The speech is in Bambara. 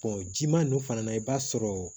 jima ninnu fana na i b'a sɔrɔ